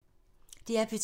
DR P2